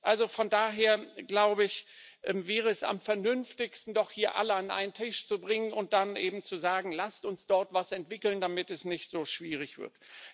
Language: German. Also von daher wäre es am vernünftigsten, doch hier alle an einen Tisch zu bringen und dann eben zu sagen Lasst uns dort etwas entwickeln, damit es nicht so schwierig wird.